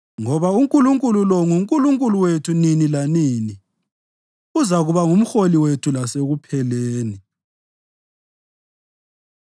Ngoba uNkulunkulu lo nguNkulunkulu wethu nini lanini; uzakuba ngumholi wethu lasekupheleni.